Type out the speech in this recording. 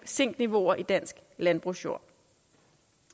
zink niveauer i dansk landbrugsjord